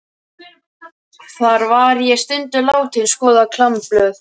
Þar var ég stundum látin skoða klámblöð.